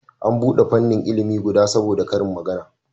An bude fannin ilimi guda saboda karin magana